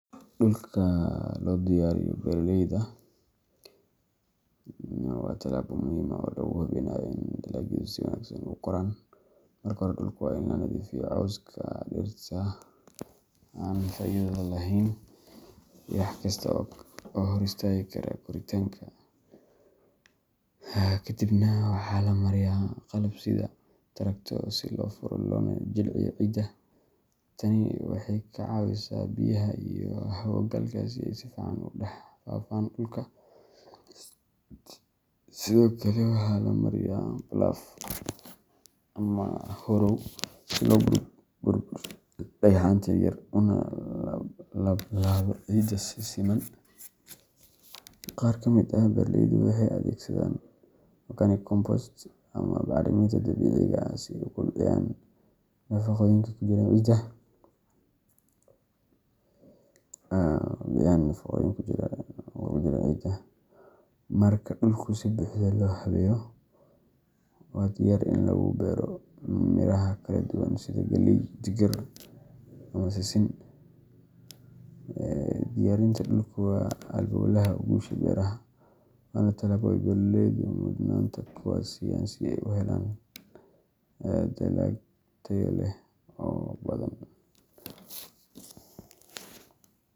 Dhulka loo diyaariyo beeralayda waa tallaabo muhiim ah oo lagu hubinayo in dalagyadu si wanaagsan ugu koraan. Marka hore, dhulka waa in laga nadiifiyaa cawska, dhirta aan faa’iidada lahayn, iyo wax kasta oo hor istaagi kara koritaanka. Kadibna waxaa la mariyaa qalab sida tractor si loo furo loona jilciyo ciidda. Tani waxay ka caawisaa biyaha iyo hawo-galka in ay si fiican ugu dhex faafaan dhulka. Sidoo kale, waxaa la mariyaa plough ama harrow si loo burburiyo dhagxaanta yaryar una laab-laabo ciidda si siman. Qaar ka mid ah beeralaydu waxay adeegsadaan organic compost ama bacriminta dabiiciga ah si ay u kobciyaan nafaqooyinka ku jira ciidda. Marka dhulku si buuxda loo habeeyo, waa diyaar in lagu beero miraha kala duwan sida galley, digir, ama sisin. Diyaarinta dhulku waa halbowlaha guusha beeraha, waana tallaabo ay beeraleydu mudnaanta koowaad siiyaan si ay u helaan dalag tayo leh oo badan.